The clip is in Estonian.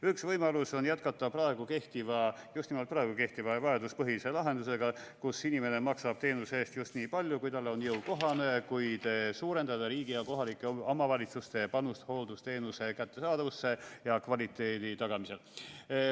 Üks võimalus on jätkata praegu kehtiva – just nimelt praegu kehtiva – vajaduspõhise lahendusega, kus inimene maksab teenuse eest nii palju, kui on talle jõukohane, kuid suurendada riigi ja kohalike omavalitsuste panust hooldusteenuse kättesaadavuse ja kvaliteedi tagamisel.